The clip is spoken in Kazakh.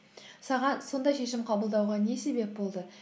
саған сондай шешім қабылдауға не себеп болды